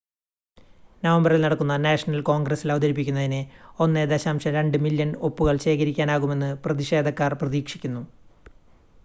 നവംബറിൽ നടക്കുന്ന നാഷണൽ കോൺഗ്രസ്സിൽ അവതരിപ്പിക്കുന്നതിന് 1.2 മില്ല്യൺ ഒപ്പുകൾ ശേഖരിക്കാനാകുമെന്ന് പ്രതിഷേധക്കാർ പ്രതീക്ഷിക്കുന്നു